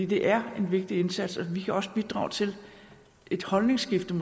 det er en vigtig indsats og vi kan måske også bidrage til et holdningsskifte